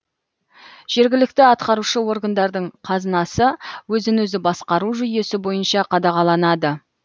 жергілікті атқарушы органдардың қазынасы өзін өзі басқару жүйесі бойынша қадағаланады